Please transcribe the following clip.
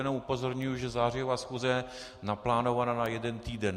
Jenom upozorňuji, že zářijová schůze je naplánovaná na jeden týden.